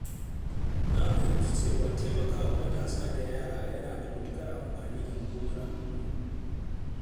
Na fahimci cewa taimakawa matasa da yara yana da matuƙar amfani ga makomar al’umma.